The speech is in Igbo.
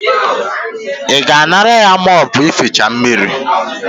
I ga-anara ya moopu ificha mmiri?